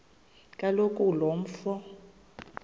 kaloku lo mfo